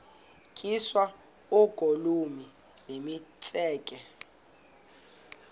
tyiswa oogolomi nemitseke